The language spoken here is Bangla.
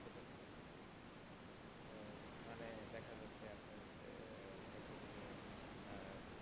মানে দেখা যাচ্ছে আপনার সাইকেল